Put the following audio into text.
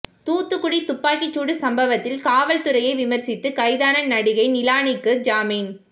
தூத்துக்குடி துப்பாக்கிச்சூடு சம்பவத்தில் காவல்துறையை விமர்சித்து கைதான நடிகை நிலானிக்கு ஜாமீன்